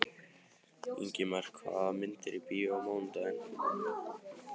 Ingimar, hvaða myndir eru í bíó á mánudaginn?